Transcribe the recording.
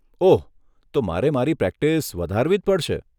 ઓહ, તો મારે મારી પ્રેક્ટિસ વધારવી જ પડશે.